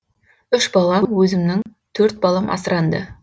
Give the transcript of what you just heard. үш балам өзімнің төрт балам асыранды